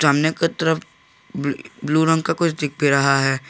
सामने की तरफ ब्लू रंग का कुछ दिख भी रहा है।